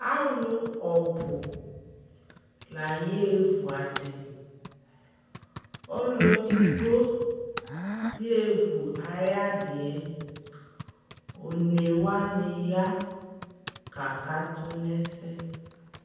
alʋ ɔbʋ layɛ vʋ adi, ɔlʋ ɛdigbɔ yɛvʋ ayi adiɛ, ɔnɛ wani ya kakatʋ nʋ ɛsɛ